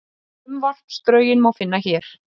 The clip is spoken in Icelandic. Frumvarpsdrögin má finna hér